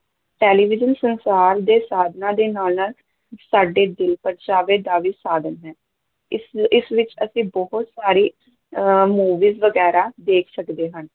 Television ਸੰਚਾਰ ਦੇ ਸਾਧਨਾਂ ਦੇ ਨਾਲ਼-ਨਾਲ਼ ਸਾਡੇ ਦਿਲ-ਪਰਚਾਵੇ ਦਾ ਵੀ ਸਾਧਨ ਹੈ, ਇਸ ਇਸ ਵਿੱਚ ਅਸੀਂ ਬਹੁਤ ਸਾਰੀ ਅਹ movie ਵਗ਼ੈਰਾ ਦੇਖ ਸਕਦੇ ਹਾਂ।